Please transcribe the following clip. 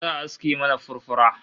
Za'a aske mana furfura